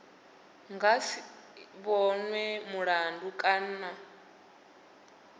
nga si vhonwe mulandu kana